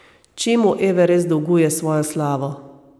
Čemu Everest dolguje svojo slavo?